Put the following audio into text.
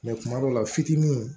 kuma dɔw la fitinin